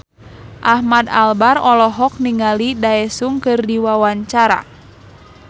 Ahmad Albar olohok ningali Daesung keur diwawancara